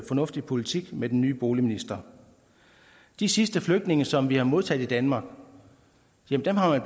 fornuftig politik med den nye boligminister de sidste flygtninge som vi har modtaget i danmark har